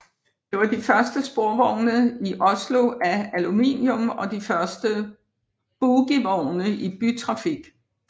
De var de første sporvogne i Oslo af aluminium og de første bogievogne i bytrafik